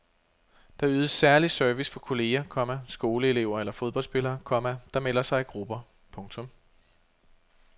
Der ydes særlig service for kolleger, komma skoleelever eller fodboldspillere, komma der melder sig i grupper. punktum